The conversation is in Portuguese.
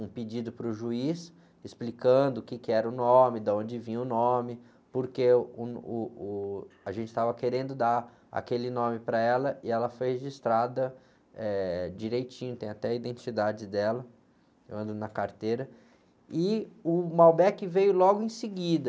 um pedido para o juiz explicando o quê que era o nome, de onde vinha o nome, porque, uh, uh, uh, a gente estava querendo dar aquele nome para ela e ela foi registrada direitinho, tem até a identidade dela, eu ando na carteira, e o Malbec veio logo em seguida.